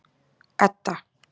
Edda